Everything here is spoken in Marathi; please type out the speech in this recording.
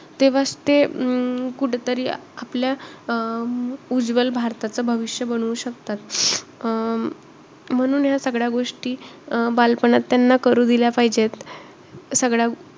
तेव्हाच ते अं कुठंतरी आपल्या अं उज्वल भारताचं भविष्य बनवू शकतात. अं म्हणून या सगळ्या गोष्टी अं बालपणात त्यांना करू दिल्या पाहिजेत. सगळ्या,